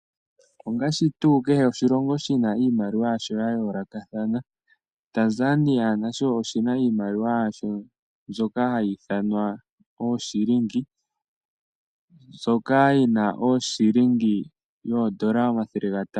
Ongaashi tuu kehe oshilongo shi na iimaliwa yasho ya yoolokathana. Tanzania naye oku na iimaliwa ye mbyoka hayi ithanwa ooshilingi mbyoka yina ooshilingi yoondola omathele gatano.